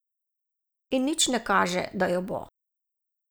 In nič ne kaže, da jo bo.